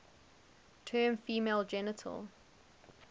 term female genital